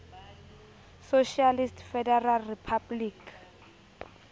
socialist federal republic